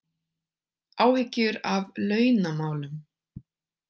Áhyggjur af launamálum